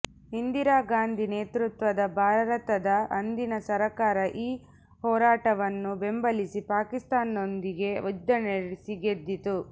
ಇಂದಿರಾ ಗಾಂಧಿ ನೇತೃತ್ವದ ಭಾರತದ ಅಂದಿನ ಸರ್ಕಾರ ಈ ಹೋರಾಟವನ್ನು ಬೆಂಬಲಿಸಿ ಪಾಕಿಸ್ತಾನದೊಂದಿಗೆ ಯುದ್ಧನಡೆಸಿ ಗೆದ್ದಿತ್ತು